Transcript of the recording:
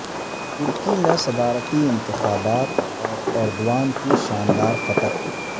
ترکی میں صدارتی انتخابات اور ایردوان کی شاندار فتح